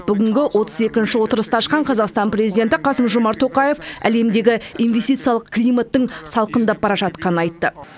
бүгінгі отыз екінші отырысты ашқан қазақстан президенті қасым жомарт тоқаев әлемдегі инвестициялық климаттың салқындап бара жатқанын айтады